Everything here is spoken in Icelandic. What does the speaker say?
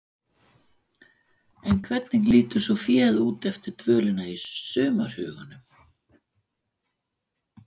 En hvernig lítur svo féð út eftir dvölina í sumarhögunum?